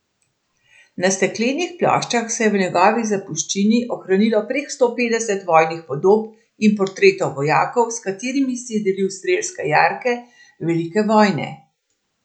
Na steklenih ploščah se je v njegovi zapuščini ohranilo prek sto petdeset vojnih podob in portretov vojakov, s katerimi si je delil strelske jarke velike vojne.